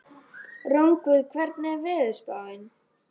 Rongvuð, hvernig er veðurspáin?